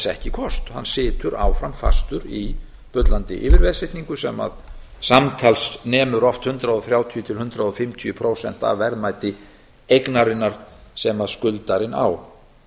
ekki kost hann situr áfram fastur í bullandi yfirveðsetningu sem samtals nemur oft hundrað og þrjátíu til hundrað og fimmtíu prósentum af verðmæti eignarinnar sem skuldarinn á